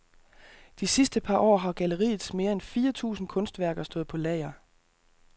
De sidste par år har galleriets mere end fire tusind kunstværker stået på lager.